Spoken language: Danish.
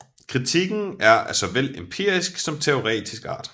Kritikken er af såvel empirisk som teoretisk art